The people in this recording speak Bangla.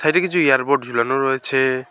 এতে কিছু এয়ারপড ঝোলানো আছে।